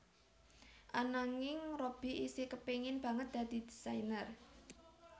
Ananging Robby isih kepengin banget dadi désainer